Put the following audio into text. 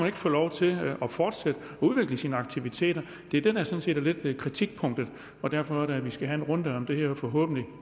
ikke få lov til at fortsætte og udvikle sine aktiviteter det er det der sådan set lidt er kritikpunktet og derfor er det at vi skal have en runde om det her og forhåbentlig